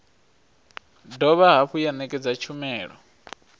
dovha hafhu ya ṋekedza tshumelo